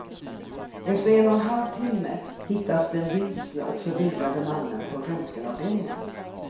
Efter en och en halv timme hittas den vilsne och förvirrade mannen på röntgenavdelningen.